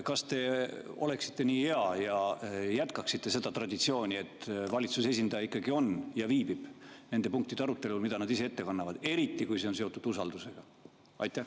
Kas te oleksite nii hea ja jätkaksite seda traditsiooni, et valitsuse esindaja ikkagi viibiks nende punktide arutelul, mida nad ise ette kannavad, eriti kui see on seotud usaldusega?